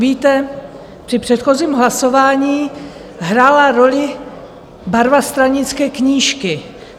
Víte, při předchozím hlasování hrála roli barva stranické knížky.